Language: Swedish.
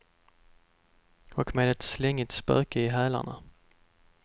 Och med ett slängigt spöke i hälarna.